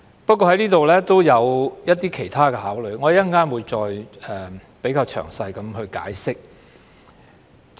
不過，我就這項條文也有其他質疑，我稍後會再作詳細解釋。